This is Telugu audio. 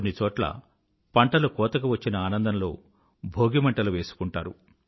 కొన్ని చోట్ల పంటలు కోతకివచ్చిన ఆనందంలో భోగిమంటలు వేసుకుంటారు